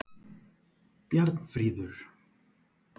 Bjarnfríður